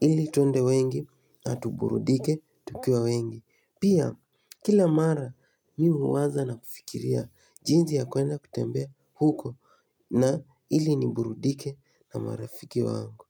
ili twende wengi na tuburudike tukiwa wengi. Pia kila mara mara mimi huwaza na kufikiria jinsi ya kuenda kutembea huko na ili ni burudike na marafiki wangu.